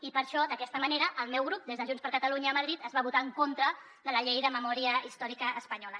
i per això d’aquesta manera el meu grup des de junts per catalunya a madrid es va votar en contra de la llei de memòria històrica espanyola